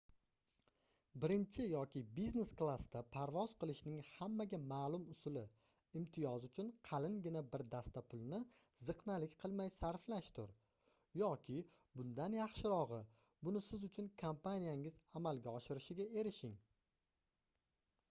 birinchi yoki biznes klassda parvoz qilishning hammaga ma'lum usuli — imtiyoz uchun qalingina bir dasta pulni ziqnalik qilmay sarflashdir yoki bundan yaxshirog'i buni siz uchun kompaniyangiz amalga oshirishiga erishing